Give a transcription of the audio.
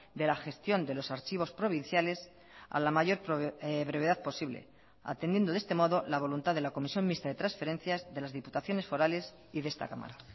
de la gestión de los archivos provinciales a la mayor brevedad posible atendiendo de este modo la voluntad de la comisión mixta de transferencias de las diputaciones forales y de esta cámara